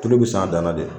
Tulu bɛ san a dan na de